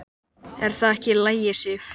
Er það ekki í lagi, Sif?